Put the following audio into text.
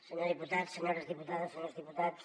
senyor diputat senyores diputades senyors diputats